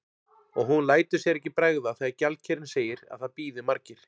Og hún lætur sér ekki bregða þegar gjaldkerinn segir að það bíði margir.